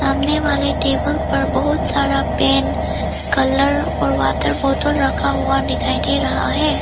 सामने वाले टेबल पर बहुत सारा पेन कलर और वाटर बॉटल रखा हुआ दिखाई दे रहा है।